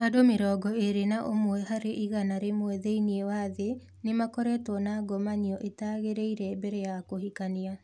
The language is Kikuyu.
"Andũ mirongo ĩrĩ na ũmwe harĩ igana rĩmwe thĩinĩ wa thĩ nĩ makoretwo na ngomanio itagĩrĩire mbere ya kũhikania".